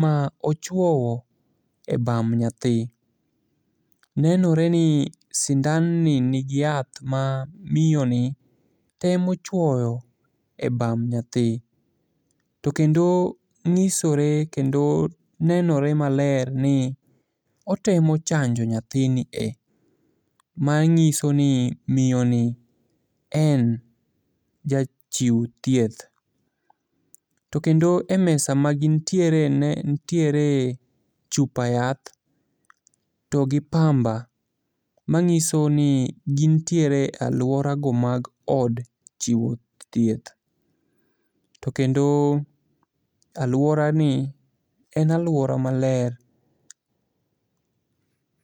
ma ochuowo e bam nyathi. Nenore ni sindanni nigi yath ma miyoni temo chuoyo e bam nyathi, to kendo nyisore kendo nenore maler ni otemo chanjo nyathini e,manyiso ni miyo ni en jachiw thieth, to kendo e mesa magintiere nitiere chupa yath to gi pamba. Manyiso ni gintiere e alworago mag od chiwo thieth, to kendo alworani en alwora maler.